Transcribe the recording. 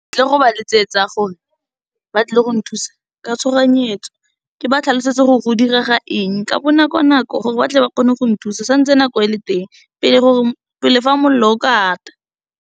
Ke tlile go ba letsetsa , ba tle go nthusa ka tshoganyetso ke ba tlhalosetse gore go direga eng ka bonako nako gore ba tle ba kgone gong thusa santse nako ele teng, pele fa molelo o ka ata.